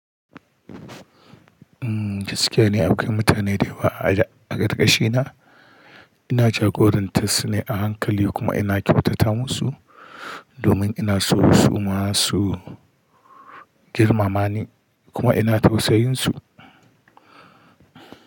Mm, gaskiya ne akwai mutane da yawa a ƙarƙashina. Ina jagorantar su ne a hankali kuma ina kyautata musu domin ina so su ma su girmama ni kuma ina tausayin su.